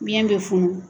Biyɛn bɛ funu